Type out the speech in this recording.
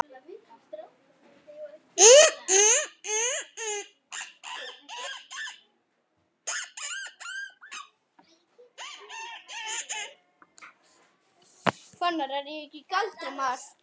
Svo flýtiði ykkur heim.